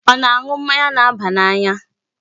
Ọ na-aṅụ mmanya na-aba n'anya?